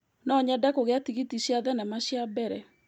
No nyende kũgĩa tigiti cia thenema cia mbere.